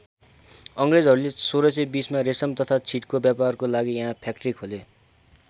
अङ्ग्रेजहरूले १६२०मा रेशम तथा छिटको व्यापारको लागि यहाँ फ्याक्ट्री खोले।